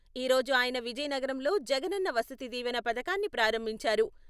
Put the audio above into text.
ఈ రోజు ఆయన విజయనగరంలో 'జగనన్న వసతి దీవెన' పథకాన్ని ప్రారంభించారు.